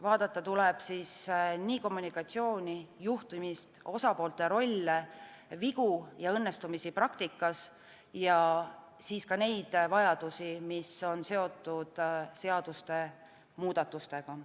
Vaadata tuleb nii kommunikatsiooni, juhtimist, osapoolte rolle, vigu ja õnnestumisi praktikas, kui ka neid vajadusi, mis on seotud seaduste muudatustega.